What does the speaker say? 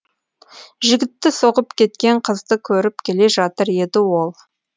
жігітті соғып кеткен қызды көріп келе жатыр еді ол